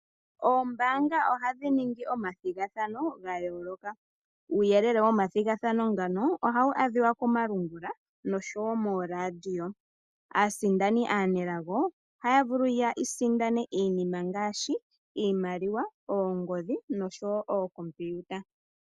Oombaanga ohadhi ningi omadhigathano ga yooloka, uuyelele woma thigathano ngano ohawu adhiwa komalungula noshowo mooradio aasindani aanelago ohaya vulu ya isindane iinima ngaashi iimaliwa, oongodhi noshowo oocompiuta.